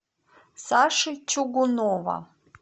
саши чугунова